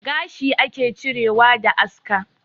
Gashi ake cirewa da aska